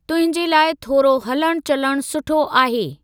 तुंहिंजे लाइ थोरो हलणु चलणु सुठो आहे।